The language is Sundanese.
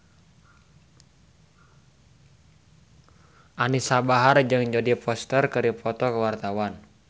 Anisa Bahar jeung Jodie Foster keur dipoto ku wartawan